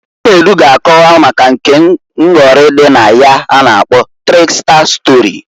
Chinedu ga akowa maka nke nghọrị dị na ya a na-akpo triksta stori.